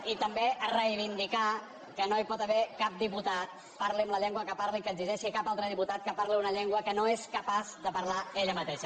i també a reivindicar que no hi pot haver cap diputada parli en la llengua en què parli que exigeixi a cap altra diputada que parli en una llengua que no és capaç de parlar hi ella mateixa